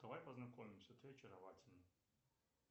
давай познакомимся ты очаровательна